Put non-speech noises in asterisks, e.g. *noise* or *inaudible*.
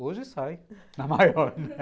Hoje sai *laughs* na maior, né?